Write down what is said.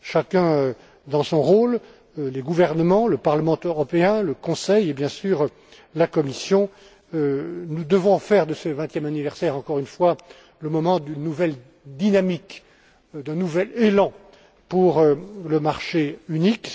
Chacun dans son rôle, les gouvernements, le Parlement européen, le Conseil, et bien sûr, la Commission, nous devons faire de ce vingtième anniversaire, j'insiste, le moment d'une nouvelle dynamique, d'un nouvel élan pour le marché unique.